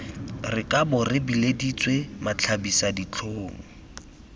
re kabo re bileditswe matlhabisaditlhong